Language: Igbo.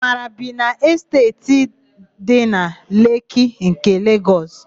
Amara bi n'Esteeti dị na Leki nke Legọs.